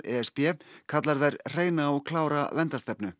e s b kallar þær hreina og klára verndarstefnu